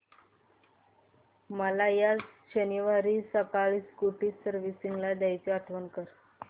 मला या शनिवारी सकाळी स्कूटी सर्व्हिसिंगला द्यायची आठवण कर